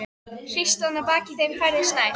Hríslan að baki þeim færðist nær.